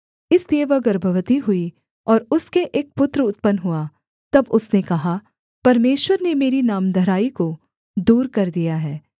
इसलिए वह गर्भवती हुई और उसके एक पुत्र उत्पन्न हुआ तब उसने कहा परमेश्वर ने मेरी नामधराई को दूर कर दिया है